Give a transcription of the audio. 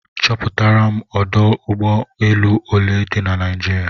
Chọpụtaram ọdụ ụgbọ elu ole di na Naịjirịa